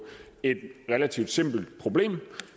et relativt simpelt problem